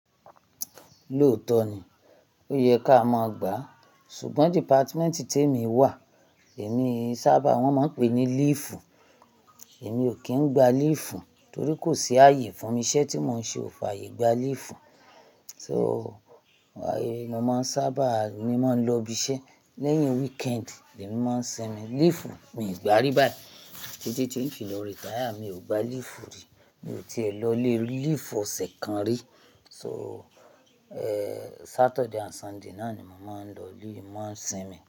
Lóòótọ́ ni, ó yẹ ká má gba, ṣùgbọ́n dìpátímẹ́ǹtì tí èmi wà, èmi sábà wọ́n máa ń pè é ní léèfù. Èmi ò kí ń gba léèfù torí kò sí ààyè fún mi. Iṣẹ́ tí mò ń ṣe ò fàyè gba léèfù. So, ààyè mo máa ń sábà ni máa ń lọ ibi iṣẹ́. Lẹ́yìn weekend ni èmi máa ń sinmi. Léèfù mi ò gbá rí báyìí. Títí tí ń fì lọ rẹ́táyà, mi ò gba léèfù rí. Mi ò ti è lọ lé léèfù ọ̀sẹ̀ kan rí. So, èéé Saturday and Sunday náà ni mo máa ń lọ lí, mo máa ń sinmi.